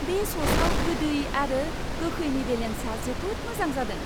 बे स'सआव गोदै आरो गोखैनि बेलेन्सआ जोबोद मोजां जादों।